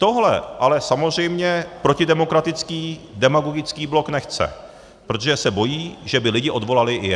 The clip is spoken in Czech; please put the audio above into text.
Tohle ale samozřejmě protidemokratický, demagogický blok nechce, protože se bojí, že by lidi odvolali i je.